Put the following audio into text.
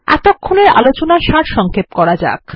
এতক্ষণের আলোচনার সারসংক্ষেপ করা যাক